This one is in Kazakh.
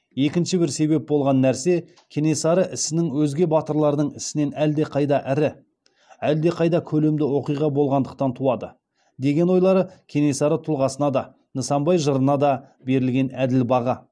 екінші бір себеп болған нәрсе кенесары ісінің өзге батырлардың ісінен әлдеқайда ірі әддеқайда көлемді оқиға болғандықтан туады деген ойлары кенесары тұлғасына да нысанбай жырына да берілген әділ баға